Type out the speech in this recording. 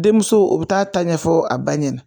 Denmuso u bɛ taa ta ɲɛfɔ a ba ɲɛna